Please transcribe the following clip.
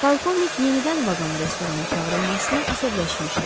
Polkovnik yenidən vaqon restorana çağırılmasına əsəbləşmişdi.